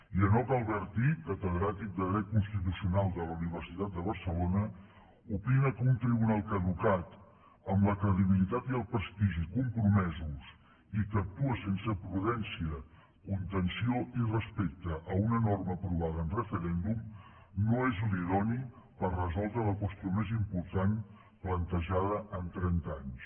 i enoch albertí catedràtic de dret constitucional de la universitat de barcelona opina que un tribunal caducat amb la credibilitat i el prestigi compromesos i que actua sense prudència contenció i respecte a una norma aprovada en referèndum no és l’idoni per resoldre la qüestió més important plantejada en trenta anys